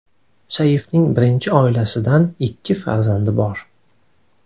Saifning birinchi oilasidan ikki farzandi bor.